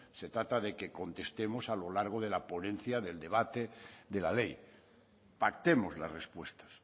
se trata de que contestemos a lo largo de la ponencia del debate de la ley pactemos las respuestas